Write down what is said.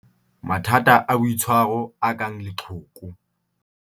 Mathata a boitshwaro a kang leqhoko.